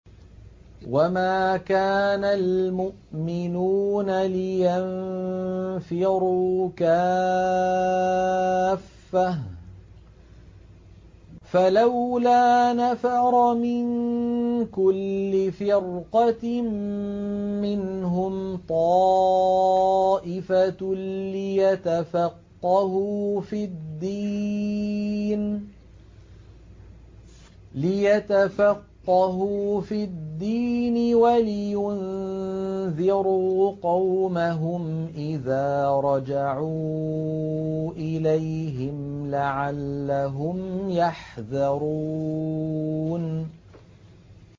۞ وَمَا كَانَ الْمُؤْمِنُونَ لِيَنفِرُوا كَافَّةً ۚ فَلَوْلَا نَفَرَ مِن كُلِّ فِرْقَةٍ مِّنْهُمْ طَائِفَةٌ لِّيَتَفَقَّهُوا فِي الدِّينِ وَلِيُنذِرُوا قَوْمَهُمْ إِذَا رَجَعُوا إِلَيْهِمْ لَعَلَّهُمْ يَحْذَرُونَ